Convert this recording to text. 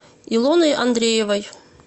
илоной андреевой